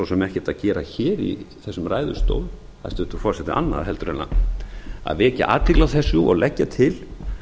sem ekkert að gera hér í þessum ræðustól hæstvirtur forseti annað en að vekja athygli á þessu og leggja til